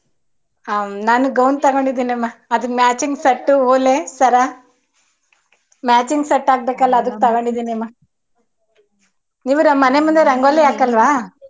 ಹಮ್ ನಾನು gown ತಗೊಂಡಿದನ್ನಮ್ಮ ಅದಿಕ್ಕೆ machining set ಓಲೆ ಸರ machining set ಹಾಕ್ಬೇಕಲ್ಲ ಅದಿಕ್ ತಕೋಂಡಿದೀನಿ ಅಮ್ಮ ನೀವು ಮನೆ ರಂಗೋಲಿ ಹಾಕಲ್ವ.